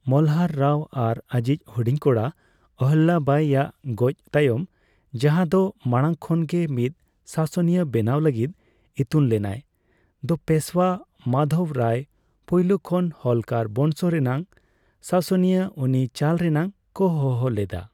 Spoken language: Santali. ᱢᱚᱞᱦᱟᱨ ᱨᱟᱣ ᱟᱨ ᱟᱹᱡᱤᱡ ᱦᱩᱰᱤᱧ ᱠᱚᱲᱟ, ᱚᱦᱞᱭᱟᱵᱟᱭ ᱭᱟᱜ ᱜᱚᱡ ᱛᱟᱭᱚᱢ, ᱡᱟᱦᱟᱸ ᱫᱚ ᱢᱟᱲᱟᱝ ᱠᱷᱚᱱ ᱜᱮ ᱢᱤᱫ ᱥᱟᱥᱚᱱᱤᱭᱟᱹ ᱵᱮᱱᱟᱣ ᱞᱟᱹᱜᱤᱫ ᱤᱛᱩᱱ ᱞᱮᱱᱟᱭ, ᱫᱚ ᱯᱮᱥᱣᱟ ᱢᱟᱫᱷᱚᱣ ᱨᱟᱣ ᱯᱩᱭᱞᱳ ᱠᱷᱚᱱ ᱦᱚᱞᱠᱚᱨ ᱵᱚᱸᱝᱥᱚ ᱨᱮᱱᱟᱜ ᱥᱟᱥᱚᱱᱤᱭᱟᱹ ᱩᱱᱤ ᱪᱟᱞ ᱨᱮᱱᱟᱜ ᱠᱚ ᱦᱚᱦᱚ ᱞᱮᱫᱟ᱾